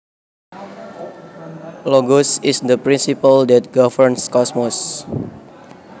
Logos is the principle that governs cosmos